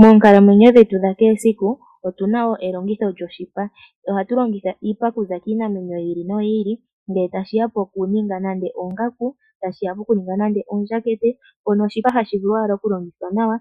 Moonkalawenyo dhetu dha kehe esiku otu na wo elongitho lyoshipa. Oha tu longitha iipa okuza kiinamwenyo yi ili no yi ili, ngele tashiya po ku ninga nenge oongaku, nenge oondjakete, mpono shipa hashi vulu owala okulongithwa nawa,